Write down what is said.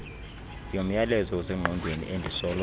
yomyalezo osengqondweni endisoloko